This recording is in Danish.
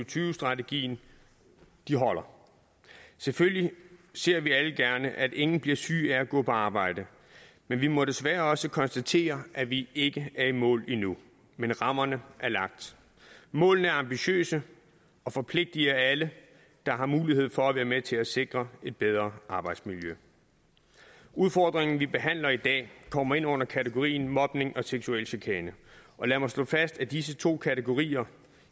tyve strategien holder selvfølgelig ser vi alle gerne at ingen bliver syge af at gå på arbejde men vi må desværre også konstatere at vi ikke er i mål endnu men rammerne er lagt målene er ambitiøse og forpligtiger alle der har mulighed for være med til at sikre et bedre arbejdsmiljø udfordringen vi behandler i dag kommer ind under kategorien mobning og seksuel chikane og lad mig slå fast at disse to kategorier